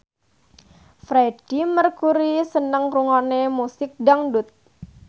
Freedie Mercury seneng ngrungokne musik dangdut